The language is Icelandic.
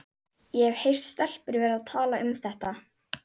Ég hef heyrt stelpur vera að tala um þetta.